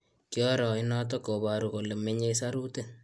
Kioro inotok koparu kole menyei saruti